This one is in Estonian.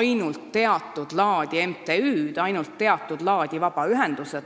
ainult teatud laadi MTÜ-sid, vabaühendusi.